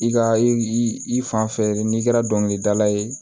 I ka i i fan fɛ n'i kɛra dɔnkilidala ye